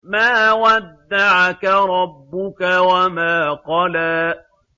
مَا وَدَّعَكَ رَبُّكَ وَمَا قَلَىٰ